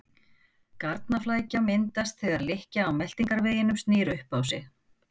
Garnaflækja myndast þegar lykkja á meltingarveginum snýr upp á sig.